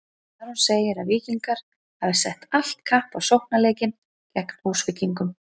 Aron segir að Víkingar hafi sett allt kapp á sóknarleikinn gegn Húsvíkingum.